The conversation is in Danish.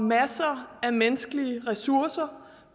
masser af menneskelige ressourcer